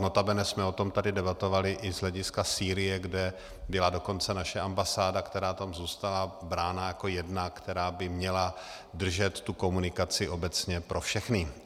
Notabene jsme o tom tady debatovali i z hlediska Sýrie, kde byla dokonce naše ambasáda, která tam zůstala, brána jako jedna, která by měla držet tu komunikaci obecně pro všechny.